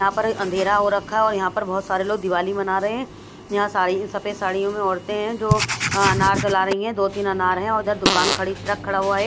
यहाँ पर अंधेरा हो रखा है और यहाँ पर बहोत सारे लोग दिवाली मना रहे हैं यहाँ साड़ी सफेद साड़ियों में औरतें हैं जो अनार चला रही हैं दो तीन अनार हैं और उधर दुकान खड़ी ट्रक खड़ा हुआ है एक --